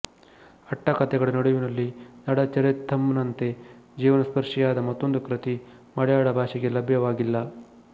ಆಟ್ಟಕ್ಕಥೆಗಳ ನಡುವಿನಲ್ಲಿ ನಳಚರಿತಂನಂತೆ ಜೀವನಸ್ಪರ್ಶಿಯಾದ ಮತ್ತೊಂದು ಕೃತಿ ಮಲೆಯಾಳ ಭಾಷೆಗೆ ಲಭ್ಯವಾಗಿಲ್ಲ